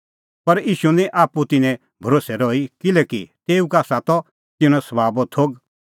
पर ईशू निं आप्पू तिन्नें भरोस्सै रही किल्हैकि तेऊ का आसा त तिन्नें सभाबो थोघ